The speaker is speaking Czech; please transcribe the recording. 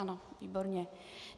Ano, výborně.